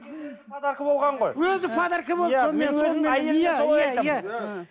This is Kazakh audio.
өзі подарка болған ғой өзі подарка болды